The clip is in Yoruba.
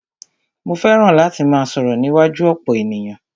Mó fẹràn láti máà sọ̀rọ̀ níwájú ọ̀pọ̀ ènìyàn.